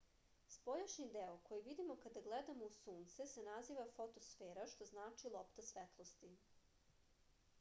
spoljašnji deo koji vidimo kada gledamo u sunce se naziva fotosfera što znači lopta svetlosti